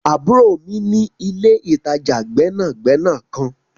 Àburo mi ni ìle-itaja gbẹnagbẹna kan.